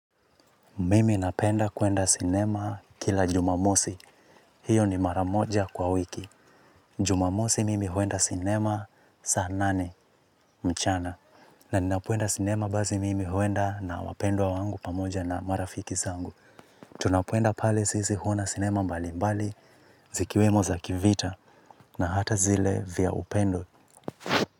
Mimi napenda kuenda sinema kila jumamosi. Hiyo ni maramoja kwa wiki. Jumamosi mimi huenda sinema saa nane mchana. Na ninapoenda sinema bazi mimi huenda na wapendwa wangu pamoja na marafiki zangu. Tunapoenda pale sisi huona sinema mbali mbali zikiwemo za kivita na hata zile vya upendo.